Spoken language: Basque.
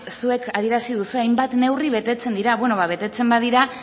zuek adierazi duzue hainbat neurri betetzen dira beno ba betetzen badira